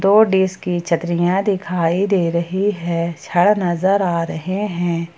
दो डिश की छतरियां दिखाई दे रही है छड़ नजर आ रहे हैं।